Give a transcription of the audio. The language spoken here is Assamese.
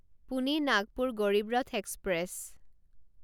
পোনে নাগপুৰ গৰিব ৰথ এক্সপ্ৰেছ